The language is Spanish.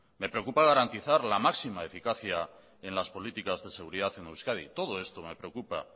me preocupa garantizar la máxima eficacia en las políticas de seguridad en euskadi todo esto me preocupa